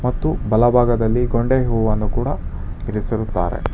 ಮತ್ತು ಬಲಭಾಗದಲ್ಲಿ ಕೊಂಡೆ ಹೂವನ್ನು ಕೂಡ ಇರಿಸಿರುತ್ತಾರೆ.